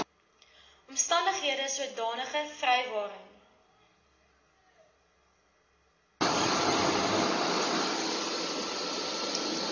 omstandighede sodanige vrywaring